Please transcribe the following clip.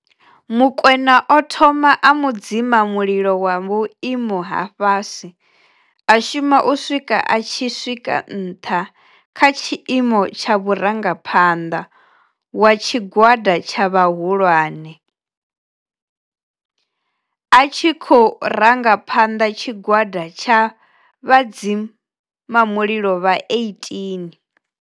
Mokoena o thoma a mudzima mulilo wa vhuimo ha fhasi a shuma u swika a tshi swika nṱha kha tshiimo tsha murangaphanḓa wa tshigwada tsha vhahulwane, a tshi khou ranga phanḓa tshigwada tsha vhadzima mulilo vha 18.